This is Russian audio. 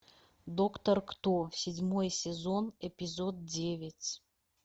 доктор кто седьмой сезон эпизод девять